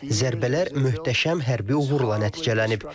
Zərbələr möhtəşəm hərbi uğurla nəticələnib.